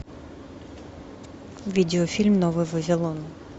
видеофильм новый вавилон